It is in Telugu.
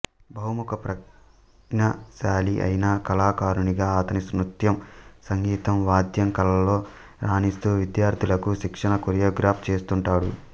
బహుముఖ ప్రజ్ఞాశాలి అయిన కళాకారునిగా ఆయన నృత్యం సంగీతం వాద్యం కళలలో రాణిస్తూ విద్యార్థులకు శిక్షణ కొరియోగ్రాఫ్ చేస్తుంటాడు